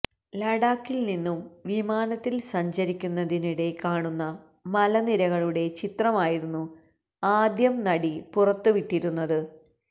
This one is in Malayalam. ലഡാക്കില് നിന്നും വിമാനത്തില് സഞ്ചരിക്കുന്നതിനിടെ താെ കാണുന്ന മലനിരകളുടെ ചിത്രമായിരുന്നു ആദ്യം നടി പുറത്ത് വിട്ടിരുന്നത്